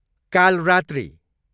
Kalaratri